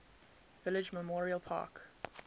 village memorial park